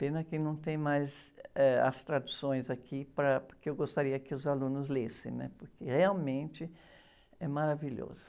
Pena que não tem mais, eh, as traduções aqui, para, porque eu gostaria que os alunos lessem, né? Porque realmente é maravilhoso.